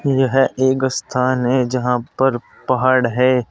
यह एक स्थान है जहां पर पहाड़ है।